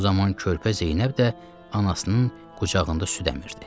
Bu zaman körpə Zeynəb də anasının qucağında süd əmirdi.